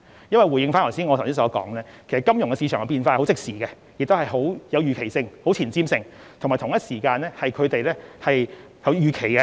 因為正如我剛才所說，金融市場的變化相當即時，而且極具預期性和前瞻性，當中有相當多的預期。